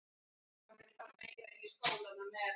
Félagið er mjög stórt.